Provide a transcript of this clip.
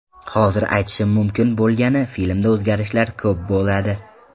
Hozir aytishim mumkin bo‘lgani filmda o‘zgarishlar ko‘p bo‘ladi.